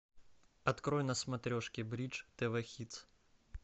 открой на смотрешке бридж тв хитс